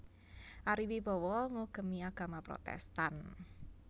Ari Wibowo ngugemi agama Protèstan